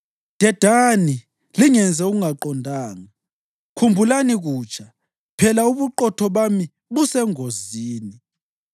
Dedani, lingenzi okungaqondanga; khumbulani kutsha, phela ubuqotho bami busengozini.